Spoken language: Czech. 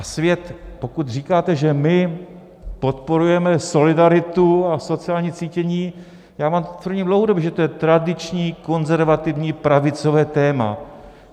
A svět, pokud říkáte, že my podporujeme solidaritu a sociální cítění, já vám tvrdím dlouhodobě, že to je tradiční konzervativní pravicové téma.